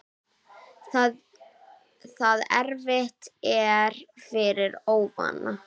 Það erfitt er fyrir óvana.